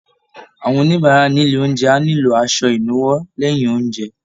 Àwọn oníbàárà nílé oúnjẹ á nílò aṣọ ìnuwọ́ lẹ́yìn oúnjẹ